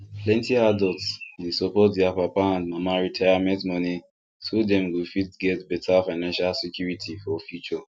plenty adults dey support their papa and mama retirement money so dem go fit get better financial security for future